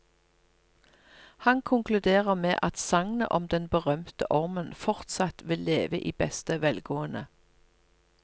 Han konkluderer med at sagnet om den berømte ormen fortsatt vil leve i beste velgående.